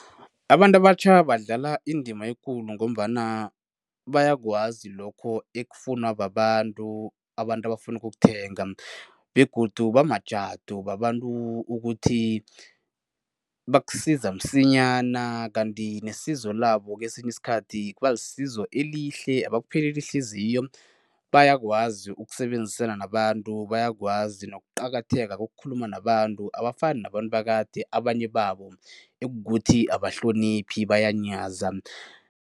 Abantu abatjha badlala indima ekulu ngombana bayakwazi lokho ekufunwa babantu, abantu abafuna ukukuthenga begodu bamajadu, babantu ukuthi bakusiza msinyana kanti nesizo labo kesinye isikhathi kuba lisizo elihle, abakupheleli ihliziyo. Bayakwazi ukusebenzisana nabantu, bayakwazi nokuqakatheka kokukhuluma nabantu, abafani nabantu bakade abanye babo ekukuthi abahloniphi bayanyaza.